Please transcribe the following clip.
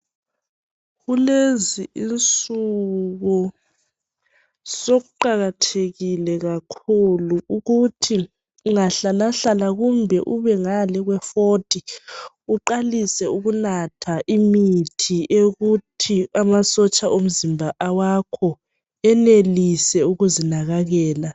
Kulezi insuku sokuqakathekile kakhulu ukuthi ungahlalahlala kumbe ubengale kwe forty uqalise ukunatha imithi eyokuthi amasotsha omzimba awakho enelise ukuzinakakela.